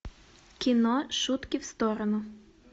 кино шутки в сторону